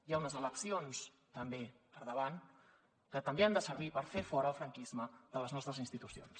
hi ha unes eleccions també per davant que també han de servir per fer fora el franquisme de les nostres institucions